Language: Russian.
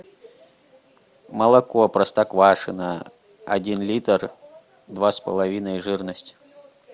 молоко простоквашино один литр два с половиной жирность